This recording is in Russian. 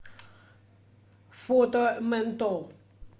фото ментол